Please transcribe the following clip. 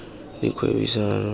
dikgwebisano